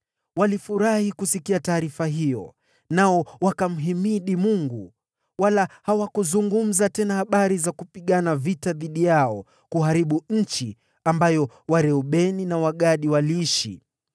Walifurahi kusikia taarifa hiyo, na wakamhimidi Mungu. Wala hawakuzungumza tena habari za kupigana vita dhidi yao ili kuharibu nchi ambayo Wareubeni na Wagadi waliishi.